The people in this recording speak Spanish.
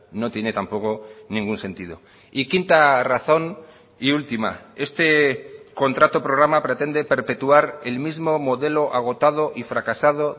no tiene tampoco ningún sentido y quinta razón y última este contrato programa pretende perpetuar el mismo modelo agotado y fracasado